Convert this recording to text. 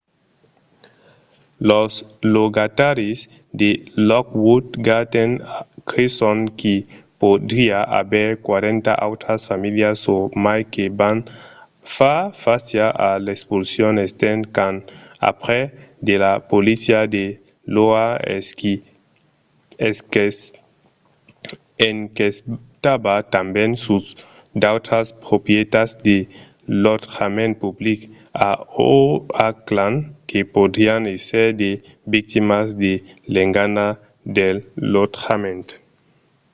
los logataris de lockwood gardens creson qu'i podriá aver 40 autras familhas o mai que van far fàcia a l'expulsion estent qu'an aprés que la polícia de l'oha enquestava tanben sus d'autras proprietats de lotjament public a oakland que podrián èsser de victimas de l'engana del lotjament